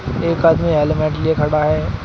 एक आदमी हेलमेट लिए खड़ा है।